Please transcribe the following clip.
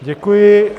Děkuji.